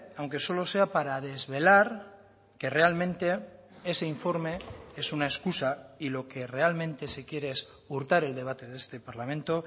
aunque solo sea para desvelar que realmente ese informe es una excusa y lo que realmente se quiere es hurtar el debate de este parlamento